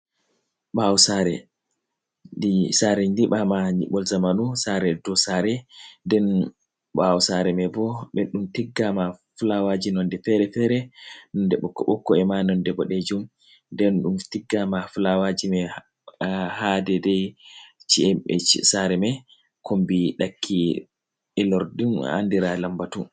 Ɓawo saare! Saare nƴiɓama nƴiɓol zamanu, saare dow saare. Nden ɓawo saare mai bo, ɓe ɗum tiggama fulawaji nonde fere-fere. Nonde ɓokko-ɓokko é ma nonde boɗejum. Nden ɗum tiggama fulawaji mai ha daidai saare mai, kombi ɗakki ilorɗum, andira lambatu.